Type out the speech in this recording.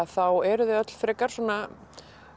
þá eru þau öll frekar svona